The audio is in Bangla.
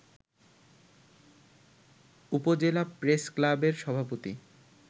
উপজেলা প্রেস ক্লাবের সভাপতি